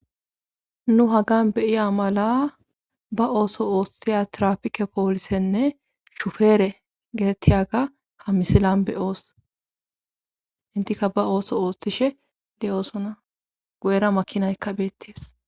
Nu hagan beyiya mala ba ooso ooshthiya trafike poolisenne shufeere getettiyaga ha misilan be oos intika ba ooso ooshthishe de7oosona go7era makinaykka beettees.